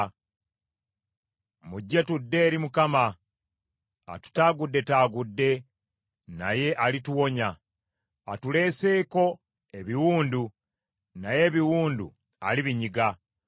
“Mujje, tudde eri Mukama . Atutaaguddetaagudde, naye alituwonya; atuleeseeko ebiwundu, naye ebiwundu alibinyiga.